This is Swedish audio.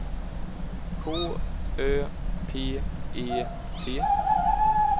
K Ö P E T